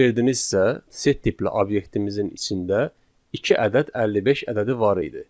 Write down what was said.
Fikir verdinizsə, set tipli obyektimizin içində iki ədəd 55 ədədi var idi.